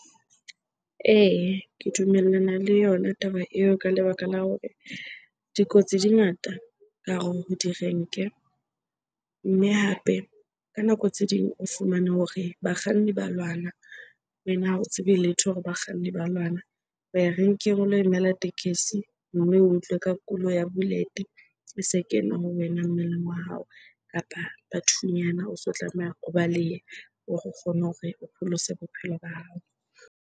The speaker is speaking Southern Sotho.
Ee, ke dumellana le yona taba eo ka lebaka la hore dikotsi di ngata ka hare ho direnke. Mme hape ka nako tse ding o fumane hore bakganni ba lwana, wena ha o tsebe letho hore bakganni ba lwana. Ho ya renkeng o lo emela tekesi mme o utlwe ka kulo ya bullet-e e se kena ho wena mmeleng wa hao kapa bathunyana. O se o tlameha o balehe hore o kgone hore o pholose bophelo ba hao.